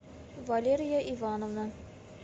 валерия ивановна